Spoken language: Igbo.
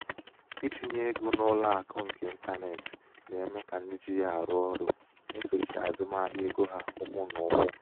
itinye ego n'ụlọ akụ nke ịntanetị na-eme ka ndị ji ya arụ ọrụ na-esochi azụmahịa ego ha ụkwụ na ụkwụ.